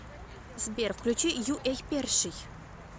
сбер включи ю эй перший